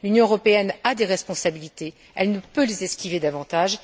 L'Union européenne a des responsabilités, elle ne peut les esquiver davantage.